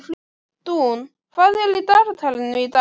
Dúnn, hvað er í dagatalinu í dag?